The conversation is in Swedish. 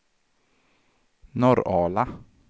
Norrala